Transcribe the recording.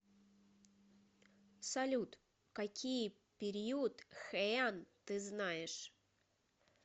салют какие период хэйан ты знаешь